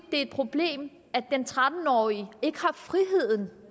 et problem at den tretten årige ikke har friheden